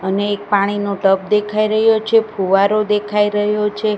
અને એક પાણીનું ટબ દેખાય રહ્યો છે ફુવારો દેખાય રહ્યો છે.